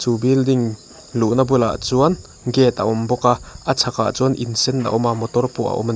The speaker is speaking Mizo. chu building luhna bulah chuan gate a awm bawk a a chhakah chuan in sen a awm a motor pawh a awm a ni.